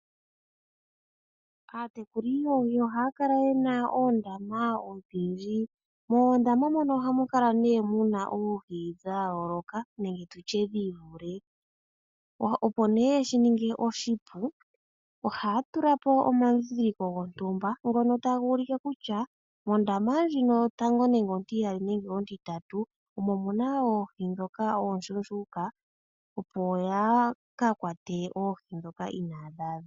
Aatekuli yoohi ohaya kala yena oondama odhiindji ,mondama mono ohamu kala ne oohi dha yoloka nenge tutye dhi ivule, opo ne yeshi ninge oshipu oha tulapo omadhidhiliko gontumba ngono taga ulike kutya mondama ndjino yotango nenge ontiyali nenge ontitatu omo muna oohi dhoka oshushuka opo ya kakwate oohi dhoka inadhi adha.